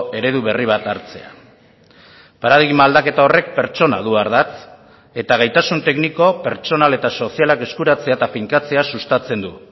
eredu berri bat hartzea paradigma aldaketa horrek pertsona du ardatz eta gaitasun tekniko pertsonal eta sozialak eskuratzea eta finkatzea sustatzen du